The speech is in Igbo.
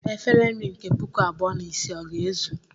Efere nri nke puku abụọ na isii ọ ga-ezu?